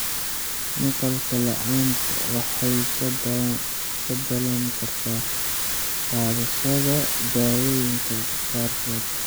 Maqal la'aanta waxay ka dhalan kartaa qaadashada daawooyinka qaarkood.